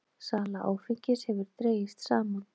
Sala áfengis hefur dregist saman